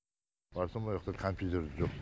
барсам ояқта компьютерде жоқ